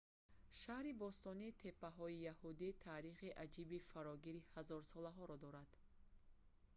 шаҳри бостонии теппаҳои яҳудӣ таърихи аҷиби фарогири ҳазорсолаҳоро дорад